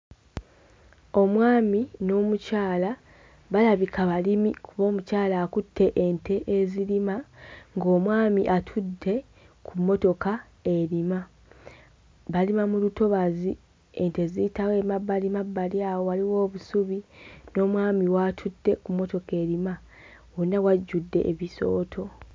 Omwami n'omukyala balabika balimi kuba omukyala akutte ente ezirima ng'omwami atutte ku mmotoka erima balima mu lutobazi ente ziyitawo emabbalimabbali awo waliwo obusubi n'omwami w'atutte ku mmotoka erima wonna wajjudde ebisooto.